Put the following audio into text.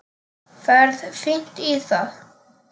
Ferð fínt í það.